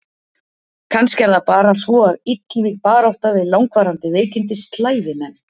Kannski er það svo að illvíg barátta við langvarandi veikindi slævi menn.